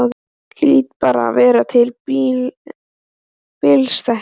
Hlýt bara að vera að bilast.